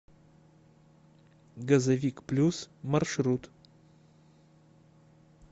газовик плюс маршрут